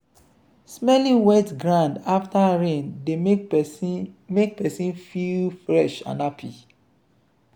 smelling wet ground after rain dey make person make person feel fresh and happy.